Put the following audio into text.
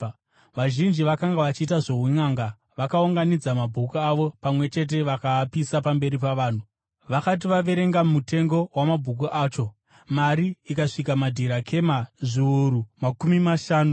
Vazhinji vakanga vachiita zvounʼanga vakaunganidza mabhuku avo pamwe chete vakaapisa pamberi pavanhu. Vakati vaverenga mutengo wamabhuku acho, mari ikasvika madhirakema zviuru makumi mashanu .